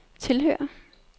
tilhører